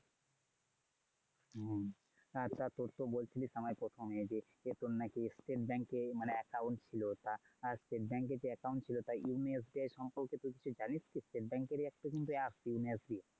হুম। তোর তো বলছিলিস আমায় প্রথমে যে তোর নাকি State bank মানে account ছিল তা state bank যে account ছিল তা younasio সম্পর্কে কিছু জানিস কি? State bank এর ই একটা কিন্তু app younasio